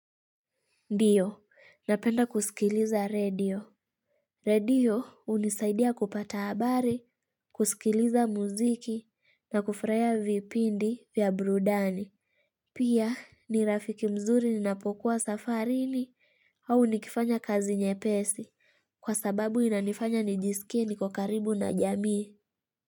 Ndiyo, napenda kusikiliza redio. Redio hunisaidia kupata habari, kusikiliza muziki na kufurahia vipindi vya burudani. Pia ni rafiki mzuri ninapokuwa safarini au nikifanya kazi nyepesi. Kwa sababu inanifanya nijisikie niko karibu na jamii.